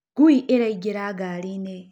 ngui ĩraĩngĩra ngarĩĩnĩ.